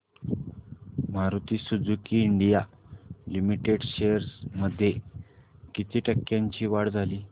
Maruti Suzuki India limited shares मध्ये किती टक्क्यांची वाढ झाली